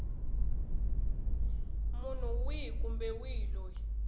munhu wihi kumbe wihi loyi